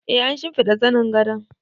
E, an shimfiɗa zanin gadon